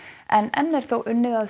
en enn er þó unnið að